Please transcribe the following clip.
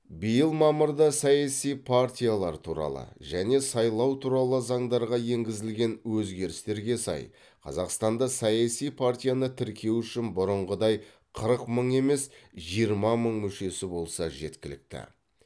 биыл мамырда саяси партиялар туралы және сайлау туралы заңдарға енгізілген өзгерістерге сай қазақстанда саяси партияны тіркеу үшін бұрынғыдай қырық мың емес жиырма мың мүшесі болса жеткілікті